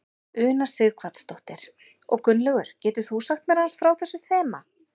Una Sighvatsdóttir: Og Gunnlaugur getur þú sagt mér aðeins frá þessu þema?